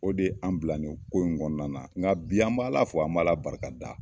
O de an bila nin ko in kɔnɔna na. Nga bi an be ala fɔ , an b'ala barikada